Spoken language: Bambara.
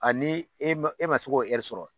A ni e ma se k'o sɔrɔ